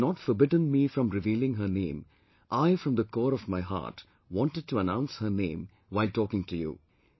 If she had not forbidden me from revealing her name, I from the core of my heart wanted to announce her name while talking to you